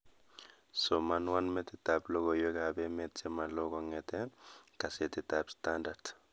Somanwon metitab logoywekab emet chemalo kongete kasetitab standart